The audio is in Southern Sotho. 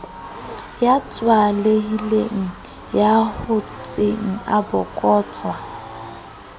ya tswalehileng ya hotseng abokotswa